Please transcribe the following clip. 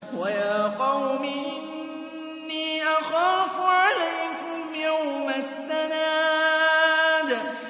وَيَا قَوْمِ إِنِّي أَخَافُ عَلَيْكُمْ يَوْمَ التَّنَادِ